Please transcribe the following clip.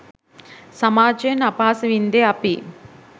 සමාජයෙන් අපහාස වින්දෙ අපියි.